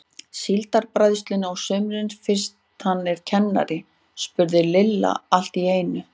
Síldarbræðslunni á sumrin fyrst hann er kennari? spurði Lilla allt í einu.